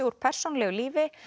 úr persónulegu lífi